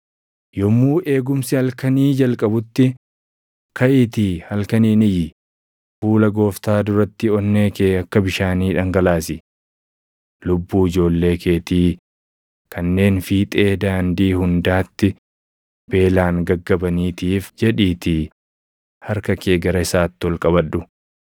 Yommuu eegumsi halkanii jalqabutti kaʼiitii halkaniin iyyi; fuula Gooftaa duratti onnee kee akka bishaanii dhangalaasi. Lubbuu ijoollee keetii kanneen fiixee daandii hundaatti beelaan gaggabaniitiif jedhiitii harka kee gara isaatti ol qabadhu.